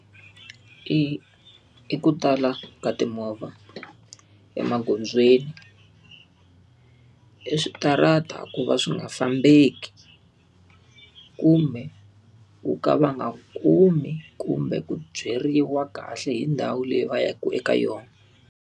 I i ku tala ka timovha emagondzweni, i switarata ku va swi nga fambeki, kumbe wu ka va nga kumi kumbe ku byeriwa kahle hi ndhawu leyi va yaka eka yona.